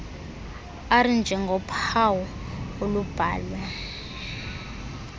r njengophawu olubhalwe